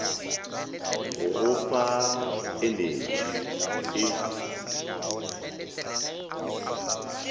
go go fa enetši e